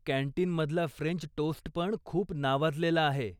कॅन्टीनमधला French टोस्टपण खूप नावाजलेलाआहे.